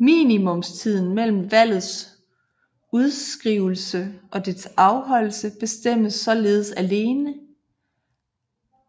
Minimumstiden mellem valgets udskrivelse og dets afholdelse bestemmes således alene